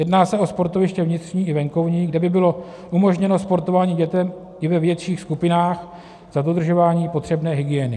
Jedná se o sportoviště vnitřní i venkovní, kde by bylo umožněno sportování dětem i ve větších skupinách za dodržování potřebné hygieny.